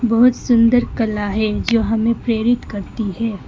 बहुत सुंदर कला है जो हमें प्रेरित करती है।